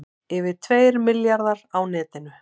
Yfir tveir milljarðar á netinu